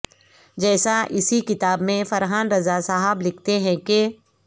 جیسا اسی کتاب میں فرحان رضا صاحب لکھتے ہیں کہ